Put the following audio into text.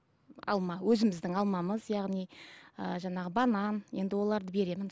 алма өзіміздің алмамыз яғни ыыы жаңағы банан енді оларды беремін